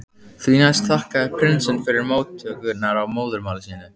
Því næst þakkaði prinsinn fyrir móttökurnar á móðurmáli sínu.